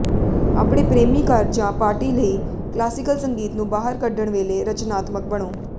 ਆਪਣੇ ਪ੍ਰੇਮੀ ਘਰ ਜਾਂ ਪਾਰਟੀ ਲਈ ਕਲਾਸੀਕਲ ਸੰਗੀਤ ਨੂੰ ਬਾਹਰ ਕੱਢਣ ਵੇਲੇ ਰਚਨਾਤਮਕ ਬਣੋ